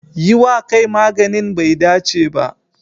Yi wa kai maganin bai dace ba.